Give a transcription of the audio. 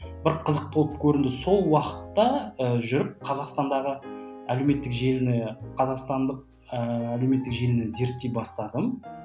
бір қызық болып көрінді сол уақытта ы жүріп қазақстандағы әлеуметтік желіні қазақстандық ыыы әлеуметтік желіні зерттей бастадым